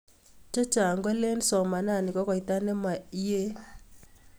Che Chang kolin somanani ko koita nemayeei